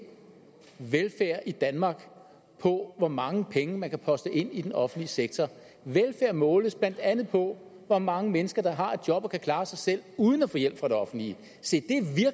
velfærd i danmark på hvor mange penge der kan postes ind i den offentlige sektor velfærd måles blandt andet på hvor mange mennesker der har et job og kan klare sig selv uden at få hjælp fra det offentlige se